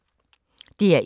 DR1